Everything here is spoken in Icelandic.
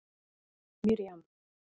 Miriam